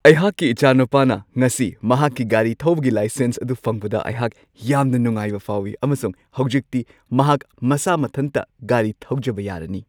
ꯑꯩꯍꯥꯛꯀꯤ ꯏꯆꯥꯅꯨꯄꯥꯅ ꯉꯁꯤ ꯃꯍꯥꯛꯀꯤ ꯒꯥꯔꯤ ꯊꯧꯕꯒꯤ ꯂꯥꯏꯁꯦꯟꯁ ꯑꯗꯨ ꯐꯪꯕꯗ ꯑꯩꯍꯥꯛ ꯌꯥꯝꯅ ꯅꯨꯡꯉꯥꯏꯕ ꯐꯥꯎꯋꯤ ꯑꯃꯁꯨꯡ ꯍꯧꯖꯤꯛꯇꯤ ꯃꯍꯥꯛ ꯃꯁꯥ ꯃꯊꯟꯇ ꯒꯥꯔꯤ ꯊꯧꯖꯕ ꯌꯥꯔꯅꯤ ꯫